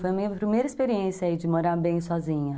Foi a minha primeira experiência aí de morar bem sozinha.